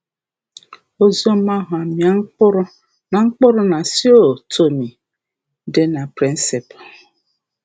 Oziọma um ahụ amịa mkpụrụ na mkpụrụ na São Tomé dị na Príncipe